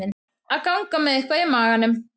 Að ganga með eitthvað í maganum